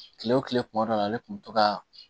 Kile wo kile kuma dɔ la ale kun bɛ to kaa